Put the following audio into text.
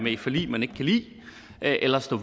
i et forlig man ikke kan lide eller står